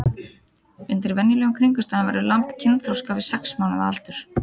Undir venjulegum kringumstæðum verður lamb kynþroska við sex mánaða aldur.